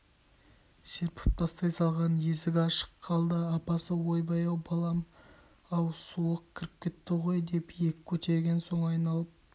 серпіп тастай салған есік ашық қалды апасы ойбай балам-ау суық кіріп кетті ғой деп иек көтерген соң айналып